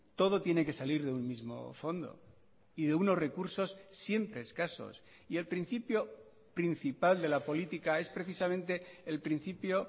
todo tiene que salir de un mismo fondo y de unos recursos siempre escasos y el principio principal de la política es precisamente el principio